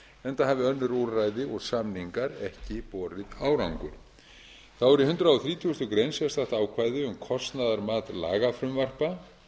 hafa önnur úrræði og samningar ekki borið árangur þá er í hundrað þrítugasta greinar sérstakt ákvæði um kostnaðarmat lagafrumvarpa